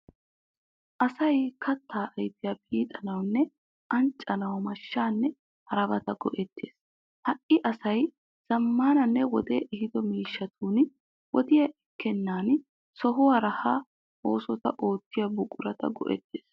Asay kattaa ayfiya piitanawunne anccanawu mashshaanne harabata go'ettes. Hai asay zaammananne wodee ehido miishshatun wodiya ekkennan sohuwaara ha oosota oottiya buquraa go'ettes.